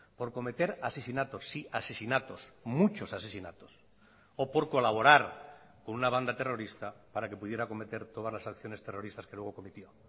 por cometer asesinatos sí asesinatos muchos asesinatos o por colaborar con una banda terrorista para que pudiera cometer todas las acciones terroristas que luego cometió